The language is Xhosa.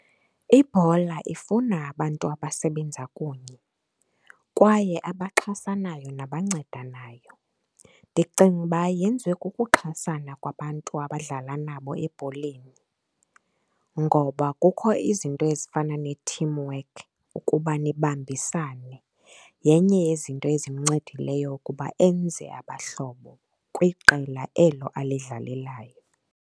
Ibhola ifuna abantu abasebenza kunye kwaye abaxhasanayo nabancedanayo. Ndicinga uba yenziwe kukuxhasana kwabantu abadlala nabo ebholeni, ngoba kukho izinto ezifana ne-teamwork ukuba nibambisane. Yenye yezinto ezincedileyo ukuba enze abahlobo kwiqela elo alidlalelayo.